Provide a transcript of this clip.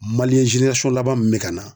laban min bɛ ka na.